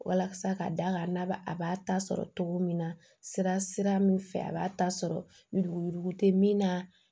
Walasa ka da kan n'a ba a b'a ta sɔrɔ cogo min na sira sira min fɛ a b'a ta sɔrɔ yuruguyurugu tɛ min na